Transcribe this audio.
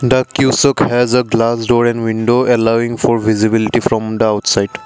the has a glass door and window allowing for visibility from the outside.